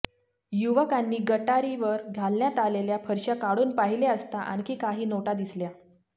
युवकांनी गटारीवर घालण्यात आलेल्या फरश्या काढून पाहिले असता आणखी काही नोटा दिसल्या